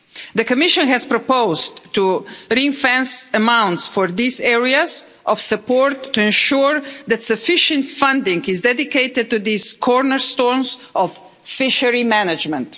The Commission has proposed to ring fence amounts for these areas of support to ensure that sufficient funding is dedicated to this cornerstone of fisheries management.